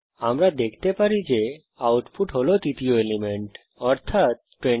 আমরা দেখতে পারি আউটপুট হল তৃতীয় এলিমেন্ট অর্থাত 29